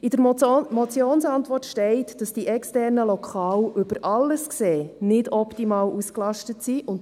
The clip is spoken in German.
In der Motionsantwort steht, dass die externen Lokale über alles gesehen nicht optimal ausgelastet sind.